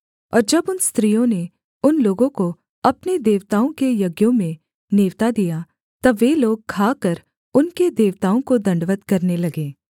और जब उन स्त्रियों ने उन लोगों को अपने देवताओं के यज्ञों में नेवता दिया तब वे लोग खाकर उनके देवताओं को दण्डवत् करने लगे